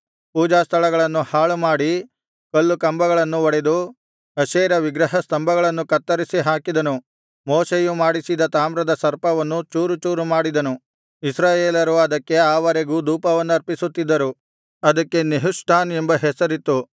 ಪೂಜಾಸ್ಥಳಗಳನ್ನು ಹಾಳುಮಾಡಿ ಕಲ್ಲುಕಂಬಗಳನ್ನು ಒಡೆದು ಅಶೇರ ವಿಗ್ರಹ ಸ್ತಂಭಗಳನ್ನು ಕತ್ತರಿಸಿ ಹಾಕಿದನು ಮೋಶೆಯು ಮಾಡಿಸಿದ ತಾಮ್ರದ ಸರ್ಪವನ್ನು ಚೂರು‍ಚೂರು ಮಾಡಿದನು ಇಸ್ರಾಯೇಲರು ಅದಕ್ಕೆ ಆ ವರೆಗೂ ಧೂಪವನ್ನರ್ಪಿಸುತ್ತಿದ್ದರು ಅದಕ್ಕೆ ನೆಹುಷ್ಟಾನ್ ಎಂಬ ಹೆಸರಿತ್ತು